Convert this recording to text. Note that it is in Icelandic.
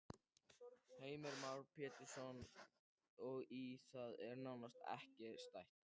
Heimir Már Pétursson: Og í því er nánast ekki stætt?